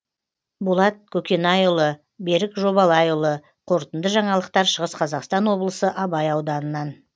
болат көкенайұлы берік жобалайұлы қорытынды жаңалықтар шығыс қазақстан облысы абай ауданынан